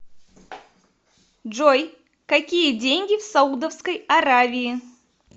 джой какие деньги в саудовской аравии